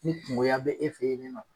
Ni kungoya bɛ e fɛ ye nin nɔ.